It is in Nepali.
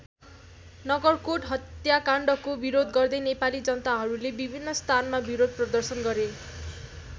नगरकोट हत्याकाण्डको विरोध गर्दै नेपाली जनताहरूले विभिन्न स्थानमा विरोध प्रदर्शन गरे।